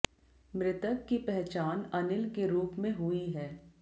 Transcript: मृतक की पहचान अनिल के रूप में हुई है